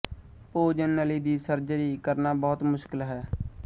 ਭੋਜਨ ਨਲੀ ਦੀ ਸਰਜਰੀ ਕਰਨਾ ਬਹੁਤ ਮੁਸ਼ਕਲ ਹੈ